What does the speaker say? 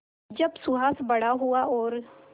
जब सुहास बड़ा हुआ और